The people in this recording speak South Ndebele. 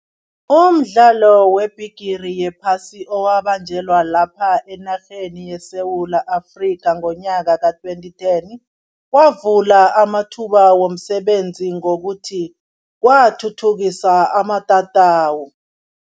Umdlalo webhigiri yephasi owabanjelwa lapha enarheni yeSewula Afrika ngonyaka ka-twenty ten, wavula amathuba womsebenzi ngokuthi kwathuthukisa amatatawu.